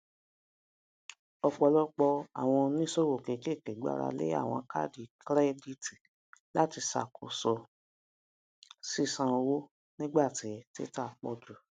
ọpọlọpọ um àwọn oníṣòwò kékeré gbárà lé àwọn kaadi kirẹditi láti ṣàkóso ṣiṣàn owó nígbà tí títà pọ jù